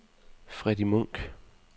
Freddy Munk